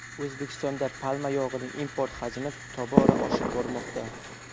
O‘zbekistonda palma yog‘ining import hajmi tobora oshib bormoqda.